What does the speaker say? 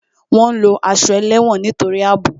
Wọn ń lo aṣọ ẹlẹ́wọ̀n nítorí àbò